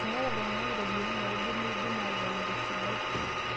Meeta ltung'ana ropiyian naidip peidim atotoni te sidai